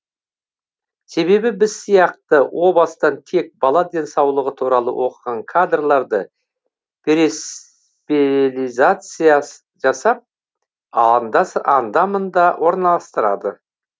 себебі біз сияқты о бастан тек бала денсаулығы туралы оқыған кадрларды перезациализация жасап анда мында орналастырады